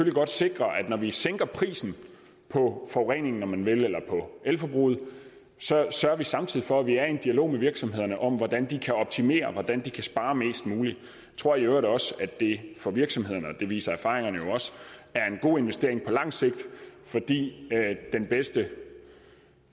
godt sikre at når vi sænker prisen på forureningen om man vil eller på elforbruget sørger vi samtidig for at vi er i en dialog med virksomhederne om hvordan de kan optimere og hvordan de kan spare mest muligt tror i øvrigt også at det for virksomhederne det viser erfaringerne jo også er en god investering på lang sigt fordi den bedste